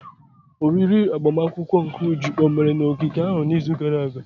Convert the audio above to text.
Oriri agbamakwụkwọ nke Uju omere na ogige ahụ n'izu gara aga?